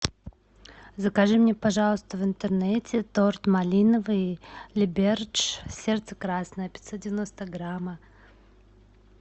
закажи мне пожалуйста в интернете торт малиновый либердж сердце красное пятьсот девяносто грамма